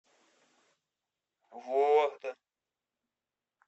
вологда